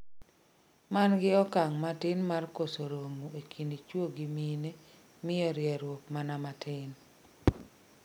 mangi okang' ma tin mar koso rom ee kind chuo gi mine miyo rieruok mana matin